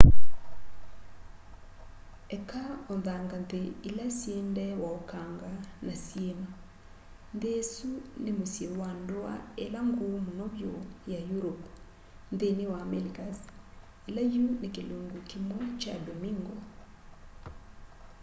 eka o nthangathĩ ila syĩ ndee wa ũkanga na syiima nthi isũ ni mũsyi wa ndua ila nguu muno vyu ya europe nthini wa amelicas ila yu ni kilungu kimwi kya domingo